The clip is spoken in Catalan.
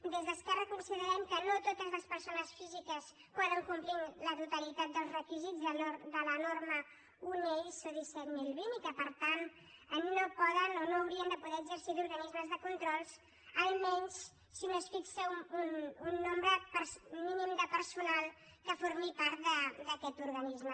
des d’esquerra considerem que no totes les persones físiques poden complir la totalitat dels requisits de la norma une iso disset mil vint i que per tant no poden o no haurien de poder exercir d’organismes de control almenys si no es fixa un nombre mínim de personal que formi part d’aquest organisme